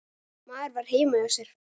Maður var heima hjá sér.